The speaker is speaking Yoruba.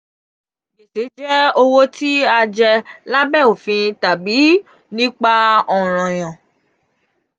gbese jẹ owo ti a je labe ofin tabi tabi nipa ọranyan.